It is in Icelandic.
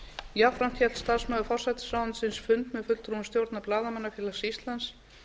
jafnframt hélt starfsmaður forsætisráðuneytisins fund með fulltrúum stjórnar blaðamannafélags íslands